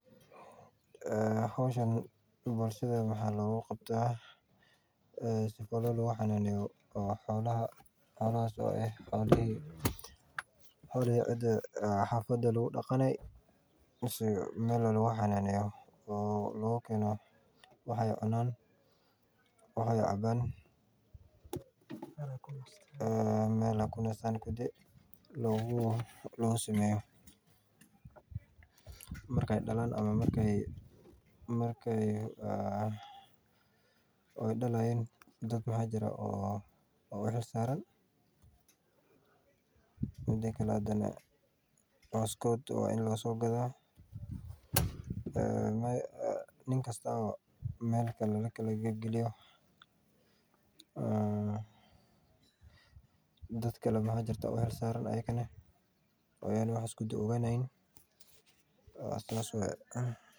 Howshan bulshada waxaa looga qabtaa si loogu xananeyo xolaha mise wixi aay cunaan meel aay kunastaan loogu sameeyo marki aay dalaan ama marki aay dalaan dad maxaa jiraa u xil saaran cooskoda waa in lasoo gadaa nin kasta meel kale lagala geliyo saas waye .